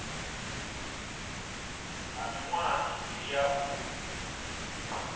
ha miṅwaha mivhili ya u